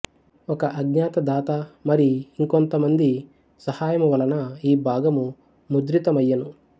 ఒక అజ్ఞాత దాత మరి ఇంకొంతమంది సహాయమువలన ఈ భాగము ముద్రితమయ్యెను